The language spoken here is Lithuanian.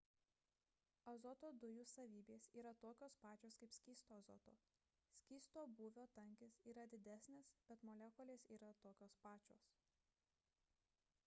azoto dujų savybės yra tokios pačios kaip skysto azoto skysto būvio tankis yra didesnis bet molekulės yra tokios pačios